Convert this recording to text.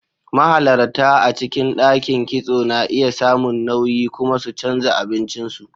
Mahalarta a cikin ɗakin kitso na iya samun nauyi kuma su canza abincin su.